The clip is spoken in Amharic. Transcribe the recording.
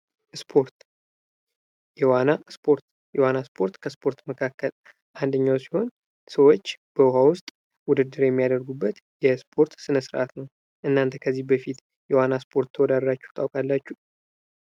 ስፖርት የዋና ስፖርት የዋና ስፖርት ከስፖርት መካከል አንዱ ሲሆን ሰዎች በዉሃ ውስጥ ውድድር የሚያደርጉበት የስፖርት ስነስርዐት ነው። እናንተ ከዚህ በፊት የዋና ስፖርት ተወዳድራቹ ታውቃላቹ?